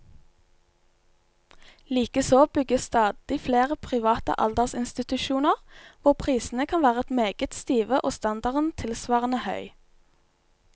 Likeså bygges stadig flere private aldersinstitusjoner, hvor prisene kan være meget stive og standarden tilsvarende høy.